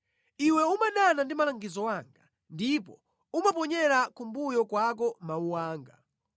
Iwe umadana ndi malangizo anga ndipo umaponyera kumbuyo kwako mawu anga.